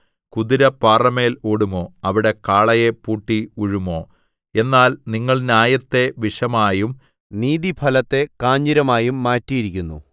കുതിര പാറമേൽ ഓടുമോ അവിടെ കാളയെ പൂട്ടി ഉഴുമോ എന്നാൽ നിങ്ങൾ ന്യായത്തെ വിഷമായും നീതിഫലത്തെ കാഞ്ഞിരമായും മാറ്റിയിരിക്കുന്നു